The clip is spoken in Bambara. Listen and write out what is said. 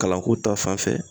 Kalanko ta fanfɛ